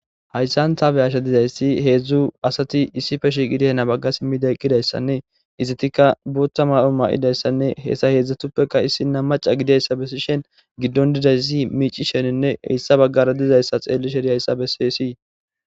Hayssan ta xellashe diizayssi heezhzhu asati hani bagga simmidi eqqidayssanne iizettika booththa mayyo mayidayssanne hessa hezhzhatuppeka issiniya macca giididayssa bessishin giiddon diizayssi miicishenne geede heesa baggara diizayssa xellishe diizayssa besses.